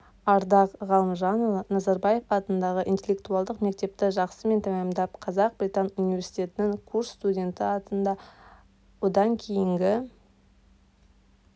ардақ ғалымжанұлы назарбаев атындағы интеллектуалдық мектепті жақсымен тәмамдап қазақ-британ университетінің курс студенті атанды одан кейінгі